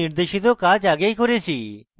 আমি নির্দেশিত কাজ আগেই করেছি